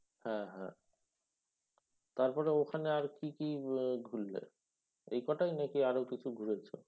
হ্যাঁ হ্যাঁ তারপরে ওখানে আর কি কি উম আহ ঘুরলে? এই এই কটাই নাকি আরও কিছু ঘুরেছ?